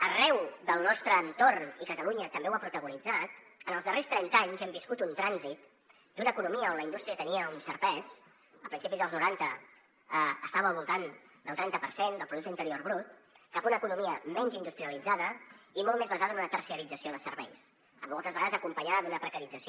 arreu del nostre entorn i catalunya també ho ha protagonitzat en els darrers trenta anys hem viscut un trànsit d’una economia on la indústria tenia un cert pes a principis dels noranta estava al voltant del trenta per cent del producte interior brut cap a una economia menys industrialitzada i molt més basada en una terciarització de serveis moltes vegades acompanyada d’una precarització